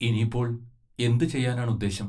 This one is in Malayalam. ഇനി ഇപ്പോൾ എന്തു ചെയ്യാനാണ് ഉദ്ദേശം?